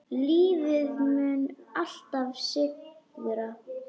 Lífið mun alltaf sigra.